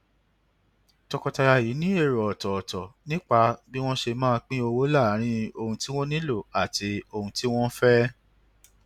tọkọtaya yìí ní èrò ọtọọtọ nípa bí wọn ṣe máa pín owó láàárín ohun tí wọn nílò àti ohun tí wọn fẹ